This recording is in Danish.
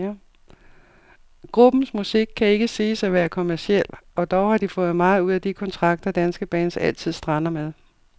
Gruppens musik kan ikke siges at være kommerciel, og dog har de fået meget ud af de kontrakter, danske bands altid strander med.